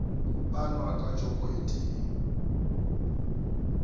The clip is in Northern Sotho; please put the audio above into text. panwa ka joko e tee